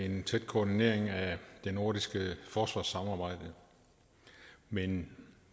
en tæt koordinering af det nordiske forsvarssamarbejde men